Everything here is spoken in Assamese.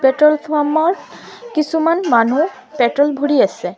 পেট্ৰল পাম্প ত কিছুমান মানুহ পেট্ৰল ভৰি আছে।